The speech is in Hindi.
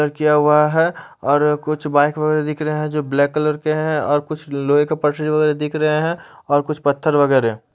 किया हुआ है और कुछ वाइट कलर दिख रहे है जो ब्लैक के है और कुछ लोहे का वगेरा दिख रहे है और कुछ पत्थर वगेरा --